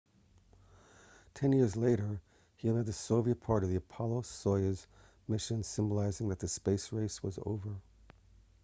ten years later he led the soviet part of the apollo-soyuz mission symbolizing that the space race was over